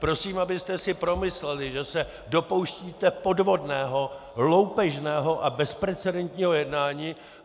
Prosím, abyste si promysleli, že se dopouštíte podvodného, loupežného a bezprecedentního jednání.